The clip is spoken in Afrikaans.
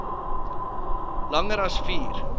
langer as vier